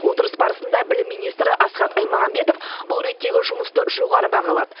отырыс барысында білім министрі асхат аймағамбетов бұл реттегі жұмысты жоғары бағалады